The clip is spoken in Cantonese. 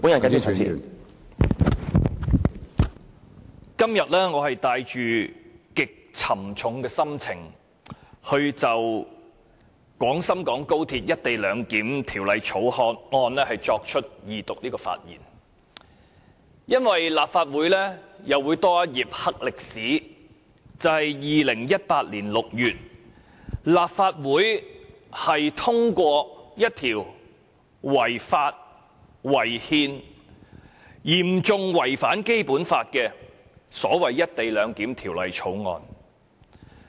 我今天是帶着極沉重的心情就《廣深港高鐵條例草案》的二讀辯論發言，因為立法會又會多一頁"黑歷史"，就是在2018年6月通過一項違法、違憲及嚴重違反《基本法》的《條例草案》。